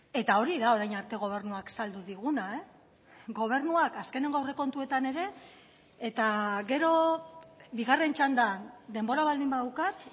eta hori da orain arte gobernuak saldu diguna gobernuak azkeneko aurrekontuetan ere eta gero bigarren txandan denbora baldin badaukat